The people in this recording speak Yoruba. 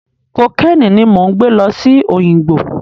Kokéènì ni mò ń gbẹ́ lọ sí Òyìngbò.